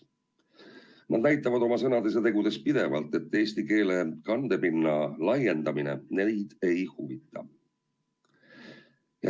Nad näitavad oma sõnade ja tegudega pidevalt, et eesti keele kandepinna laiendamine neid ei huvita.